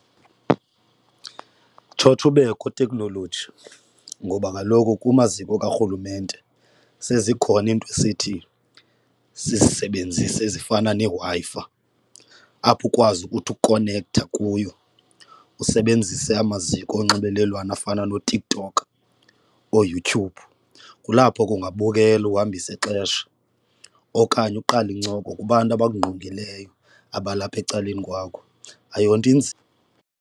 Tshotsho ubekho teknoloji ngoba kaloku kumaziko karhulumente sezikhona iinto esithi sizisebenzise ezifana neWi-Fi apho ukwazi ukuthi ukukonekthe kuyo usebenzise amaziko onxibelelwano afana nooTikTok ooYouTube. Kulapho ke ungabukela ukuhambise ixesha okanye uqale incoko kubantu abakungqongileyo abalapha ecaleni kwakho, ayonto inzima.